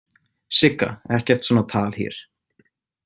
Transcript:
Sigga, ekkert svona tal hér